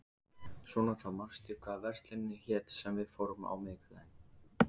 Sónata, manstu hvað verslunin hét sem við fórum í á miðvikudaginn?